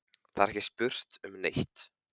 Það er ekki spurt um neitt.